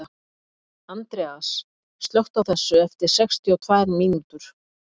Andreas, slökktu á þessu eftir sextíu og tvær mínútur.